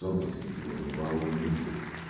солнце светило над головой и мир был